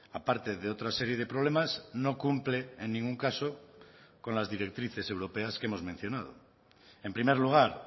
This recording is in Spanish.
aparte de otra serie de problemas no cumple en ningún caso con las directrices europeas que hemos mencionado en primer lugar